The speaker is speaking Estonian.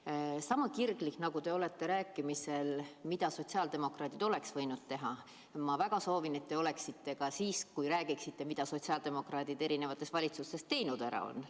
Ma väga soovin, et sama kirglik, nagu te olete rääkides, mida sotsiaaldemokraadid oleks võinud teha, te oleksite ka siis, kui räägite, mida sotsiaaldemokraadid erinevates valitsustes ära teinud on.